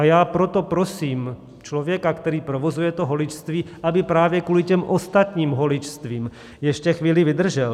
A já proto prosím člověka, který provozuje to holičství, aby právě kvůli těm ostatním holičstvím ještě chvíli vydržel.